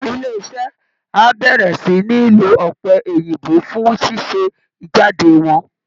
Ilé iṣẹ́ á bẹ̀rẹ̀ sí ní lo ọ̀pẹ̀ òyìnbó fún ṣíṣe jáde wọn